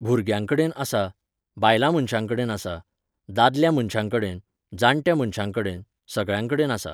भुरग्यांकडेन आसा, बायलां मनश्यांकडेन आसा, दादल्या मनश्यांकडेन, जाणट्या मनश्यांकडेन, सगळ्यांकडेन आसा